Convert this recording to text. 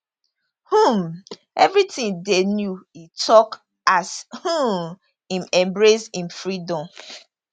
um evri tin dey new e tok as um im embrace im freedom